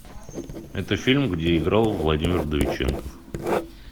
это фильм где играл владимир вдовиченков